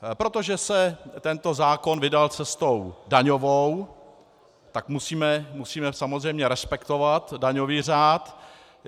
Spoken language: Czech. Protože se tento zákon vydal cestou daňovou, tak musíme samozřejmě respektovat daňový řád.